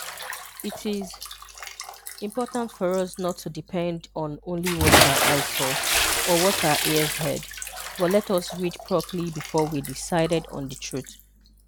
It is important for us not to depend on only what our eyes saw or what our ears heard, but let us read properly before we decided on the truth.